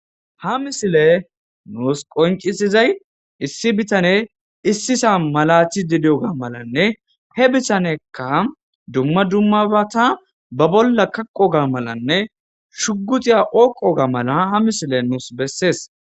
Ha misile nuus qoncisizay issi bitane issisa malathi didoga malanne he bitanekka dumma dummabata ba bolla kaqoga malanne shugutiya oyiqoga mala ha misile nuus bessees.